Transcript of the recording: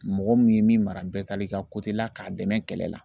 Mɔgɔ min ye min mara bɛɛ taal'i ka la k'a dɛmɛ kɛlɛ la